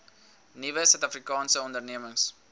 nuwe suidafrikaanse ondernemings